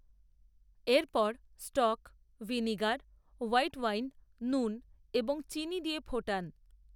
এরপর, stock, vinegar, white wine, নুন, এবং চিনি দিয়ে, ফোটান